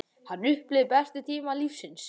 Hann upplifði bestu tíma lífs síns.